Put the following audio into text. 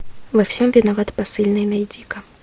во всем виноват посыльный найди ка